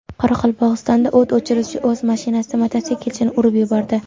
Qoraqalpog‘istonda o‘t o‘chiruvchi o‘z mashinasida mototsiklchini urib yubordi.